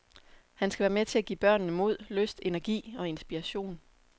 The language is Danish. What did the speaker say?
Han skal være med til at give børnene mod, lyst, energi og inspiration.